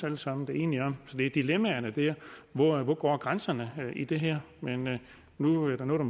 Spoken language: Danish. alle sammen enige om så det er dilemmaet hvor hvor går grænsen i det her men nu er der noget